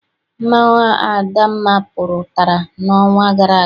Mmanwụ adamma pụtara n'ọnwa gara aga.